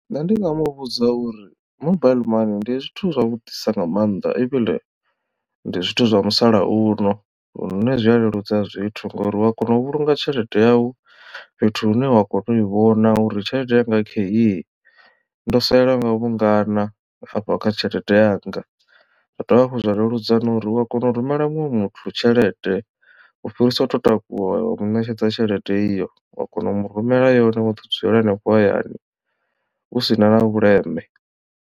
Nṋe ndi nga muvhudza uri mobaiḽi mani ndi zwithu zwa vhuḓisa nga maanḓa ivhiḽe ndi zwithu zwa musalauno lune zwi a leludza zwithu ngori wa kona u vhulunga tshelede yau fhethu hune wa kona u i vhona uri tshelede yanga kheyi ndo salelwa nga vhungana hafha kha tshelede yanga. Zwa dovha hafhu zwa leludza na uri u a kona u rumela muṅwe muthu tshelede u fhirisa u to takuwa wa mu ṋetshedza tshelede iyo uya kona u mu rumela yone wo ḓi dzulela hanefho hayani hu sina na vhuleme.